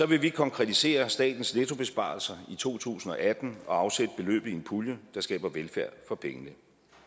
vil vi konkretisere statens nettobesparelser i to tusind og atten og afsætte beløbet i en pulje der skaber velfærd for pengene